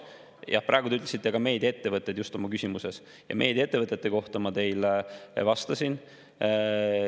Jah, praegu te ütlesite ka "meediaettevõtted" just oma küsimuses, ja meediaettevõtete kohta ma teile vastasin.